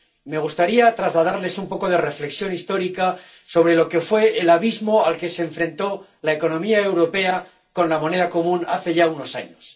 Me gustaría trasladarles un poco de reflexión histórica sobre lo que fue el abismo al que se enfrentó la economía europea con la moneda común hace ya unos años.